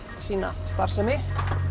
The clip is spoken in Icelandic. sína starfsemi